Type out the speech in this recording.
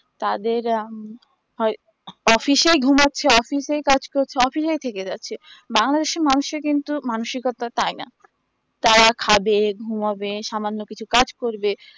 তাদের উম হয় office এই ঘুমাচ্ছে office এই কাজ করছে office এই থেকে যাচ্ছে বাংলাদেশের মানুষের কিন্তু মানসিকতা তাই না তারা খাবে ঘুমাবে সামান্য কিছু কাজ করবে